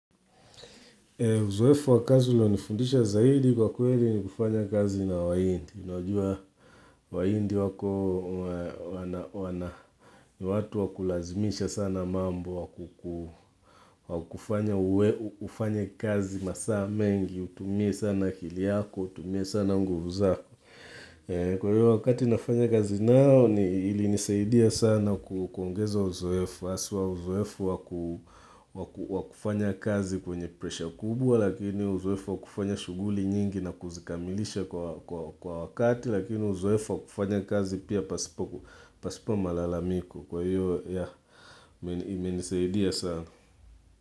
Uzoefu wa kazi ilionifundisha zaidi kwa kweli ni kufanya kazi na wahindi. Unajua wahindi wako ni watu wa kulazimisha sana mambo wakufanya uwe ufanye kazi masaa mengi, utumie sana akili yako, utumie sana nguvu zako. Kwa hiyo wakati nafanya kazi nao, ili nisaidia sana kuongeza uzoefu haswa uzoefu wakufanya kazi kwenye presha kubwa, lakini uzoefu wakufanya shughuli nyingi na kuzikamilisha kwa wakati, lakini uzoefu wakufanya kazi pia pasipo malalamiko. Kwa hiyo, ya, imenisaidia sana.